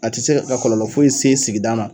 A tɛ se ka ka kɔlɔlɔ foyi se sigida ma.